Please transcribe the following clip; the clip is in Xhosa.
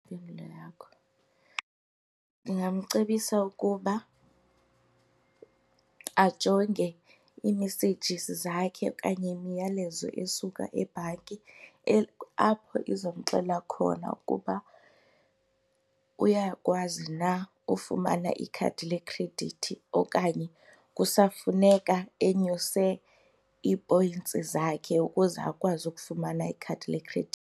Ndingamcebisa ukuba ajonge i-messages zakhe okanye imiyalezo esuka ebhanki apho izamxelela khona ukuba uyakwazi na ufumana ikhadi lekhredithi okanye kusafuneka enyuse i-points zakhe ukuze akwazi ukufumana ikhadi lekhredithi.